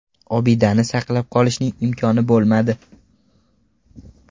Obidani saqlab qolishning imkoni bo‘lmadi.